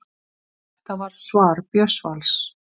Þetta var svar Björns Vals: